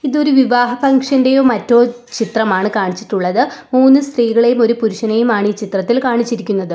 ഇതൊരു വിവാഹ ഫംഗ്ഷൻ്റെയോ മറ്റോ ചിത്രമാണ് കാണിച്ചിട്ടുള്ളത് മൂന്ന് സ്ത്രീകളെയും ഒരു പുരുഷനെയും ആണ് ഈ ചിത്രത്തിൽ കാണിച്ചിരിക്കുന്നത്.